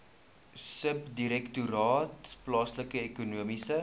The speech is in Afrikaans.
subdirektoraat plaaslike ekonomiese